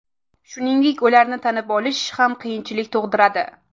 Shuningdek, ularni tanib olish ham qiyinchilik tug‘diradi.